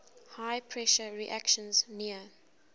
high pressure reactions near